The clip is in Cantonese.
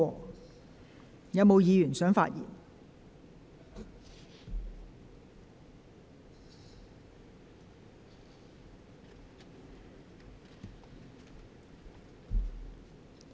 是否有議員想發言？